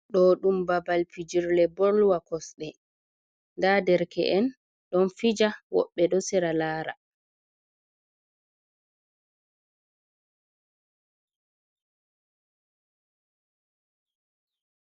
Ɗo ɗum babal pijirle bolwa kosɗe, nda derke'en ɗon fija, woɓɓe ɗo sera laara.